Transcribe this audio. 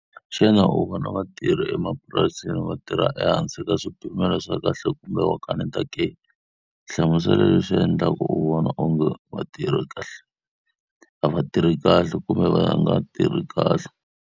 Xana u vona vatirhi emapurasini va tirha ehansi ka swipimelo swa kahle kumbe wa kaneta ke? Hlamusela leswi swi endlaka u vona onge va tirha kahle. A va tirhi kahle kumbe va nga tirhi kahle?